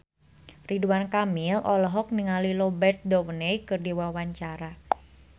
Ridwan Kamil olohok ningali Robert Downey keur diwawancara